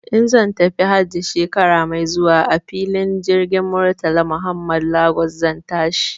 In zan tafi hajji shekara mai zuwa a filin jirgin Murtala Muhammad Lagos zan tashi.